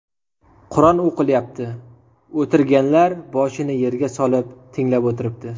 Qur’on o‘qilyapti, o‘tirganlar boshini yerga solib tinglab o‘tiribdi.